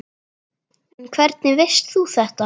En hvernig veist þú þetta?